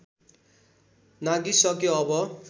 नाघिसक्यो अब